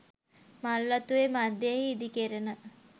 මල්වතු ඔය මධ්‍යයෙහි ඉදි කෙරෙන